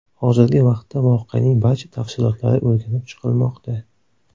Hozirgi vaqtda voqeaning barcha tafsilotlari o‘rganib chiqilmoqda.